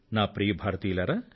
ప్రియమైన నా దేశ వాసులారా